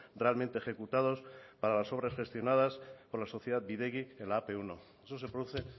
realmente ejecutados para las obras gestionadas por la sociedad bidegi en la a pe uno eso se produce